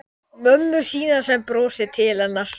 Ég skrifaði honum um fjármálin en hann svaraði engu.